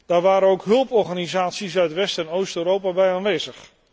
Daar waren ook hulporganisaties uit West en Oost Europa bij aanwezig.